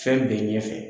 Fɛn bɛɛ ɲɛfɛ